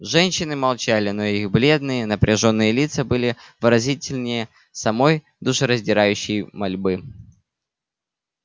женщины молчали но их бледные напряжённые лица были выразительнее самой душераздирающей мольбы